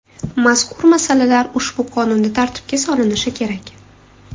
Mazkur masalalar ushbu qonunda tartibga solinishi kerak.